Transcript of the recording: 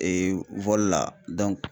la